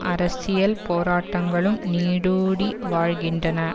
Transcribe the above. அரசியல் போராட்டங்களும் நீடூடி வாழ்கின்றன